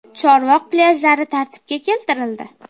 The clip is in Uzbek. Chorvoq plyajlari tartibga keltirildi .